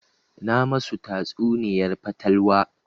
Na ma su tatsuniyar fatalwa